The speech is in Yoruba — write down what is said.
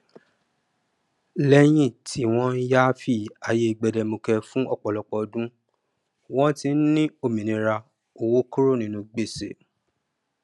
lẹyìn tí wọn yááfì ayé gbẹdẹmukẹ fún ọpọlọpọ ọdún wọn ti ń ní òmìnira owó kúrò ninú gbèsè